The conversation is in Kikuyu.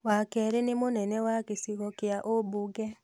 wa keerĩ nĩ mũnene wa gĩcigo kĩa ũmbunge